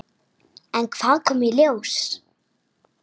En hvað kom í ljós?